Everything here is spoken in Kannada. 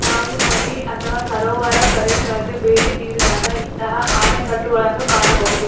ನಾವು ನದಿ ಅಥವಾ ಸರೋವರ ಪ್ರದೇಶಗಳಿಗೆ ಬೇಟಿ ನೀಡಿದಾಗ ಇಂತಹ ಆಣೆಕಟ್ಟುಗಳನ್ನು ಕಾಣಬಹುದು.